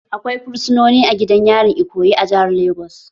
Akwai fursunoni a gidan yarin Ikoyi a jihar Legas